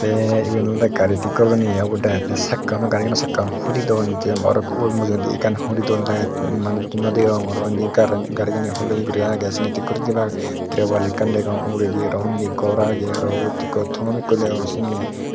te even olode gari tik goronne eya ubot direct garigeno sakka bu hulidon te manusun no degogor te unni gari gani huliya gori age terowal ekkan degong uguredi aro undi gor agey tom ekku degong sindi.